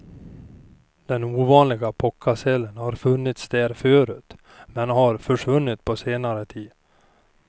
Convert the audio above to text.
Den ovanliga phocasälen har funnits där förut men har försvunnit på senare tid.